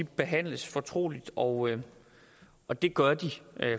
behandles fortroligt og og det gør de